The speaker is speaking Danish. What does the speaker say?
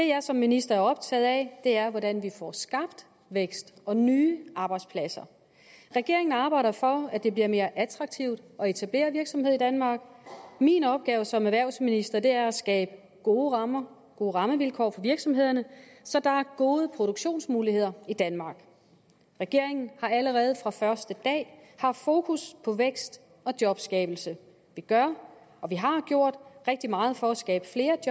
jeg som minister er optaget af er hvordan vi får skabt vækst og nye arbejdspladser regeringen arbejder for at det bliver mere attraktivt at etablere virksomhed i danmark min opgave som erhvervsminister er at skabe gode rammer gode rammevilkår for virksomhederne så der er gode produktionsmuligheder i danmark regeringen har allerede fra første dag haft fokus på vækst og jobskabelse vi gør og vi har gjort rigtig meget for at skabe flere